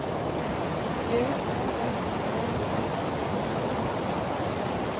J O S E F I N A